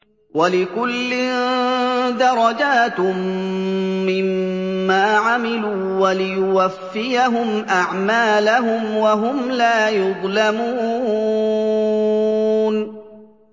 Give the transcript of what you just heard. وَلِكُلٍّ دَرَجَاتٌ مِّمَّا عَمِلُوا ۖ وَلِيُوَفِّيَهُمْ أَعْمَالَهُمْ وَهُمْ لَا يُظْلَمُونَ